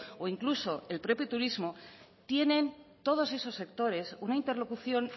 o incluso el propio turismo tienen todos esos sectores una interlocución